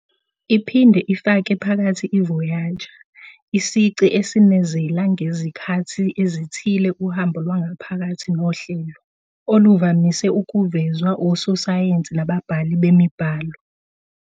iphinde ifake phakathi i-Voyager, isici esinezela ngezikhathi ezithile uhambo lwangaphakathi nohlelo, oluvamise ukuvezwa ososayensi nababhali bemibhalo.